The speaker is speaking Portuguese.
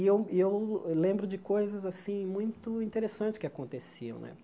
E eu e eu lembro de coisas assim muito interessantes que aconteciam né.